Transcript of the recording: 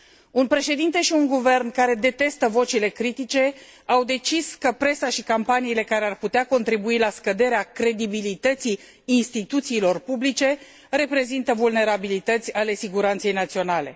Un președinte și un guvern care detestă vocile critice au decis că presa și campaniile, care ar putea contribui la scăderea credibilității instituțiilor publice, reprezintă vulnerabilități ale siguranței naționale.